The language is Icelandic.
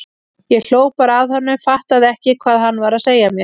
Ég hló bara að honum, fattaði ekki hvað hann var að segja mér.